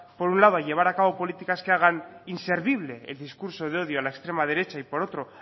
por un lado a llevar a cabo políticas que hagan inservible el discurso de odio a la extrema derecha y por otro